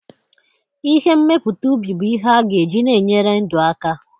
Ihe mmepụta ubi bu ihe aga eji na-enyere ndụ aka.